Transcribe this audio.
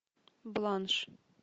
бланш